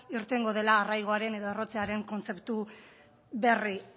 irtengo dela arraigoaren edo errotzearen kontzeptu berri